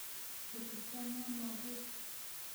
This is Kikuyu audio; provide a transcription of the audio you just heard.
Gĩtĩ kĩanwo nũũ rĩu